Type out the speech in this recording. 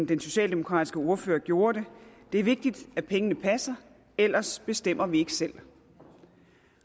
den socialdemokratiske ordfører gjorde det det er vigtigt at pengene passer ellers bestemmer vi ikke selv